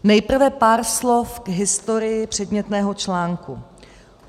Nejprve pár slov k historii předmětného článku.